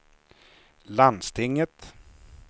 landstinget